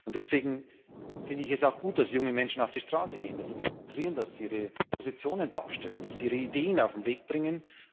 Deswegen finde ich es auch gut, dass junge Menschen auf die Straße gehen, dass sie demonstrieren, dass sie ihre Positionen darstellen, dass sie ihre Ideen auf den Weg bringen.